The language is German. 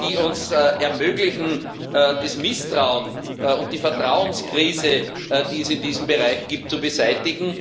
die es uns ermöglichen, das Misstrauen und die Vertrauenskrise, die es in diesem Bereich gibt, zu beseitigen.